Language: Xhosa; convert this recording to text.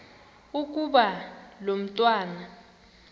ukuba lo mntwana